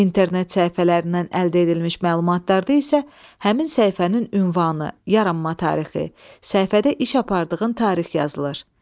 İnternet səhifələrindən əldə edilmiş məlumatlarda isə həmin səhifənin ünvanı, yaranma tarixi, səhifədə iş apardığın tarix yazılır.